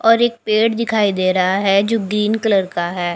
और एक पेड़ दिखाई दे रहा है जो ग्रीन कलर का हैं।